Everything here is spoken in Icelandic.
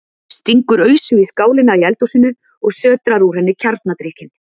Stingur ausu í skálina í eldhúsinu og sötrar úr henni kjarnadrykkinn.